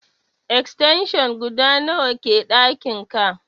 Extension guda nawa ke ɗakin ka?